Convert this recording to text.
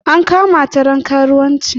An kamata don karuwanci.